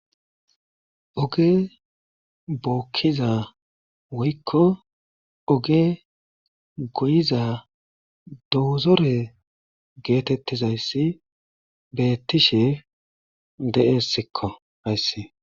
Oge bookiza woyko oge goyiza dozore geetetizaysi beetishe de'esko haysi.